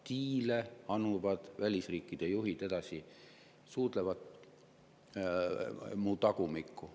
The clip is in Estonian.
"Diile anuvad välisriikide juhid," edasi: "suudlevad mu tagumikku.